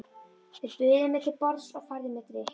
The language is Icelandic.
Þeir buðu mér til borðs og færðu mér drykk.